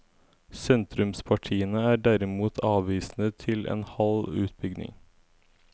Sentrumspartiene er derimot avvisende til en halv utbygging.